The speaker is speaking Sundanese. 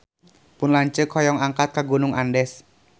Pun lanceuk hoyong angkat ka Gunung Andes